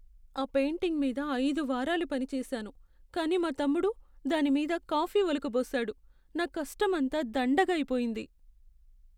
ఆ పెయింటింగ్ మీద ఐదు వారాలు పనిచేసాను, కాని మా తమ్ముడు దాని మీద కాఫీ ఒలకబోసాడు. నా కష్టమంతా దండగ అయిపోయింది.